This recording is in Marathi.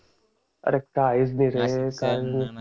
अरे काहीच नाही रे